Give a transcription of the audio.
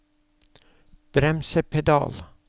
bremsepedal